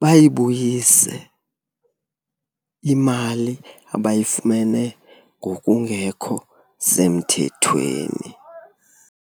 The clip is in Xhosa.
bayibuyise imali abayifumene ngokungekho semthethweni.